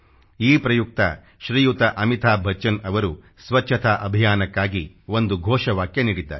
ಈ ಪ್ರಯುಕ್ತ ಶ್ರೀಯುತ ಅಮಿತಾಭ್ ಬಚ್ಚನ್ ಅವರು ಸ್ವಚ್ಛತಾ ಅಭಿಯಾನಕ್ಕಾಗಿ ಒಂದು ಘೋಷವಾಕ್ಯ ನೀಡಿದ್ದಾರೆ